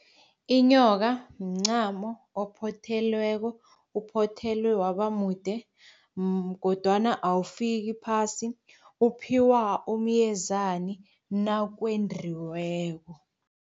Inyoka mncamo ophothelweko, uphothelwe waba mude kodwana awufiki phasi. uphiwa umyezani nakwendiweko.